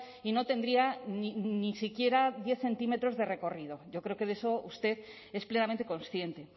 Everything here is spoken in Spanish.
y no tendría ni siquiera diez centímetros de recorrido yo creo que de eso usted es plenamente consciente